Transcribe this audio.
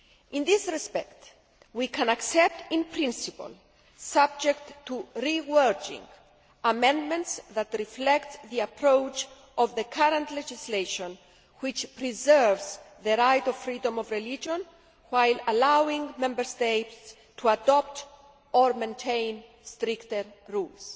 In this respect, we can accept in principle, subject to rewording, amendments that reflect the approach of the current legislation, which preserves the right of freedom of religion while allowing Member States to adopt or maintain stricter rules.